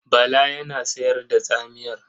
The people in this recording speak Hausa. Bala yana sayar da tsamiyar.